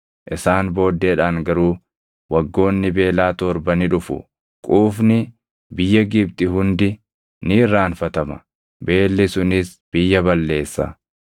isaan booddeedhaan garuu waggoonni beelaa torba ni dhufu. Quufni biyya Gibxi hundi ni irraanfatama; beelli sunis biyya balleessa.